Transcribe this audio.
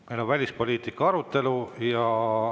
Meil on välispoliitika arutelu.